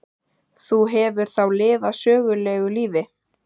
Þú hefur þá lifað sögulegu lífi?